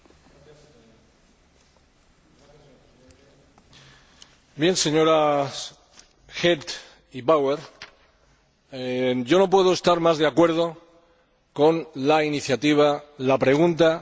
Señora Hedh, señora Bauer, no puedo estar más de acuerdo con la iniciativa, la pregunta y el debate que ustedes han suscitado aquí esta noche.